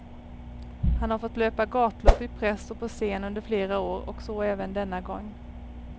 Han har fått löpa gatlopp i press och på scen under flera år och så även denna gång.